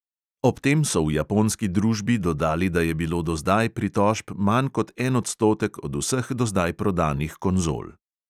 Ob tem so v japonski družbi dodali, da je bilo do zdaj pritožb manj kot en odstotek od vseh do zdaj prodanih konzol.